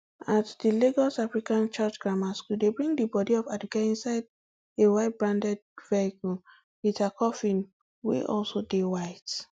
at di lagos african church grammar school dem bring di bodi of aduke inside a white branded vehicle wit her coffin wey also dey white